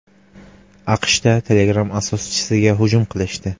AQSHda Telegram asoschisiga hujum qilishdi.